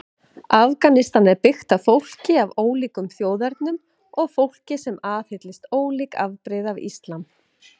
Afganistan er byggt fólki af ólíkum þjóðernum og fólki sem aðhyllist ólík afbrigði af islam.